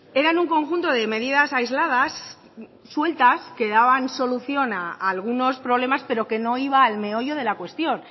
eran un conjunto de medidas aisladas sueltas que daban solución a algunos problemas pero que no iba al meollo de la cuestión